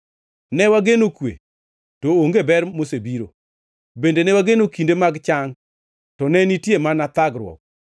Ne wageno kwe to onge ber mosebiro, bende ne wageno kinde mag chang, to ne nitie mana thagruok.